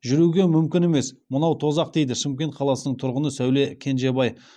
жүруге мүмкін емес мынау тозақ дейді шымкент қаласының тұрғыны сәуле кенжебай